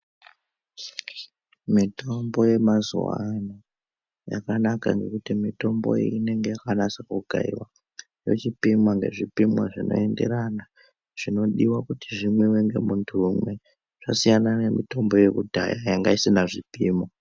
Mitombo yemazuwa ano yakana ngekuti mitombo iyi inenge yakanase kukaiwa yochipimwa ngezvipimo zvinoenderana nekuti zvimwiwe ngemuntu umwe, zvasiyana nemitombo yekudhaya yanga isina zvipimo.